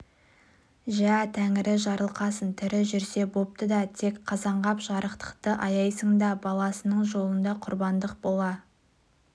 жә тәңірі жарылқасын тірі жүрсе бопты да тек қазанғап жарықтықты аяйсың да баласының жолында құрбандық бола